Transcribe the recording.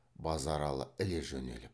базаралы іле жөнеліп